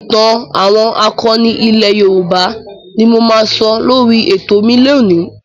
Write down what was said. ìtàn àwọn akọni ilẹ̀ Yorùbá ni mo máa sọ lórí ètò mi lónìí.